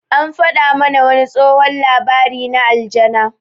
An faɗa mana wani tsohon labari na aljanna.